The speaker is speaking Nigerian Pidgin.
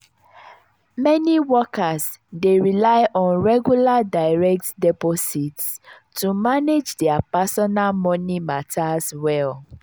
meni workers dey rely on regular direct deposits to manage dia personal moni matters well.